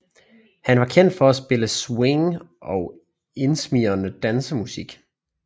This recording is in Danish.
Han var kendt for at spille swing og indsmigrende dansemusik